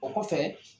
O kɔfɛ